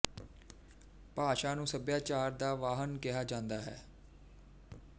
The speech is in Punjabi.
ਭਾਸ਼ਾ ਨੂੰ ਸੱਭਿਆਚਾਰ ਦਾ ਵਾਹਣ ਕਿਹਾ ਜਾਂਦਾ ਹੈ